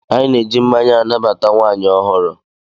Anyị na-eji mmanya anabata nwaanyị ọhụrụ.